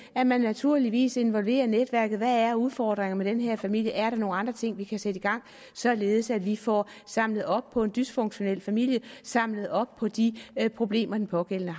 at man naturligvis involverer netværket hvad er udfordringerne med den her familie er der nogle andre ting vi kan sætte i gang således at vi får samlet op på en dysfunktionel familie samlet op på de problemer den pågældende